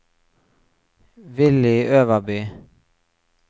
Villy Øverby